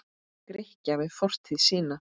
Grikkja við fortíð sína.